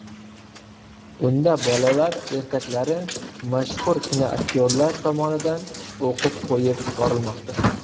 Unda bolalar ertaklari mashhur kinoaktyorlar tomonidan o‘qib qo‘yib borilmoqda.